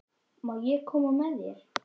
Má ég koma með þér?